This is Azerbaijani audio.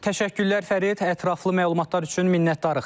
Təşəkkürlər Fərid, ətraflı məlumatlar üçün minnətdarıq.